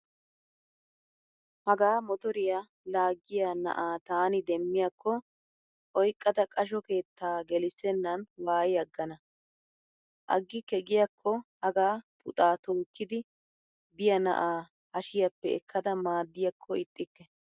Hagaa motoriyaa laaggiya na'aa taani demmiyaakko oyqqada qasho keetta gelissennan waayi aggana. Aggikke giyaakko haga puxaa tookkidi biyaa na'a hashiyaappe ekkada maaddiyaakko ixxikke.